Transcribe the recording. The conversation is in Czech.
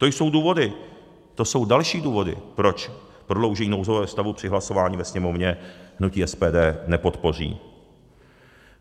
To jsou důvody, to jsou další důvody, proč prodloužení nouzového stavu při hlasování ve Sněmovně hnutí SPD nepodpoří.